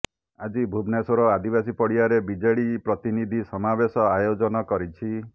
ଆଜି ଭୁବନେଶ୍ବର ଆଦିବାସୀ ପଡିଆରେ ବିଜେଡି ପ୍ରତିନିଧି ସମାବେଶ ଆୟୋଜନ କରିଛି